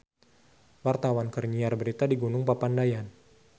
Wartawan keur nyiar berita di Gunung Papandayan